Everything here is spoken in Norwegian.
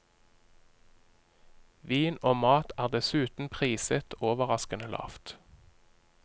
Vin og mat er dessuten priset overraskende lavt.